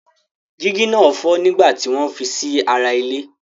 Jígí náà fọ́ nígbà tí wọ́n ń fi sí ara ile.